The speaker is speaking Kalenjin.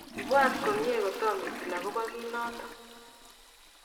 ibwatiten komye kotomo itil akobo kito noto